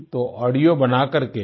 तो ऑडियो बनाकर के